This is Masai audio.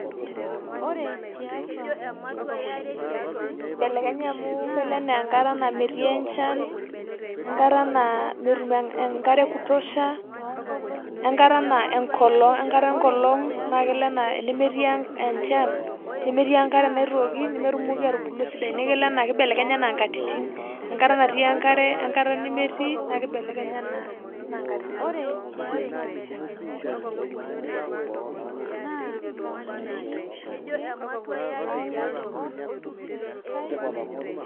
Kibelekenya amu kelo naa enkata naa metii enchan we nkata naa metum enkare e kutosha, we nkata enkolong' naake elo naa enemetii enchan, nemetii enkare naitooki nemetumoki atubulu esidai. Naa kelo naa nibelekenya ena nkatitin, enkata natii enkare we nkata nemetii, neeku ibelekenya naa enaa nkatitin.